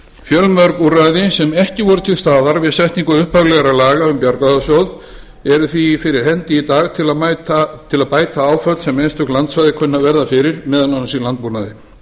fjölmörg úrræði sem ekki voru til staðar við setningu upphaflegra laga um bjargráðasjóð eru því fyrir hendi í dag til að bæta áföll sem einstök landsvæði kunna að verða fyrir meðal annars í landbúnaði